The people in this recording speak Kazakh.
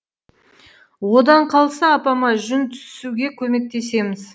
одан қалса апама жүн түсуге көмектесеміз